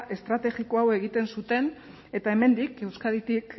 estrategiko hau egiten zuten eta hemendik euskaditik